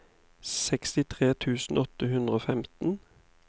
sekstitre tusen åtte hundre og femten